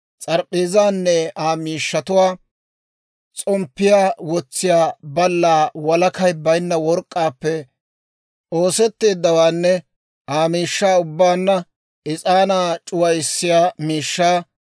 s'arp'p'eezaanne Aa miishshatuwaa, s'omppiyaa wotsiyaa ballaa walakay baynna work'k'aappe oosetteeddawaanne Aa miishshaa ubbaanna, is'aanaa c'uwissiyaa miishshaa,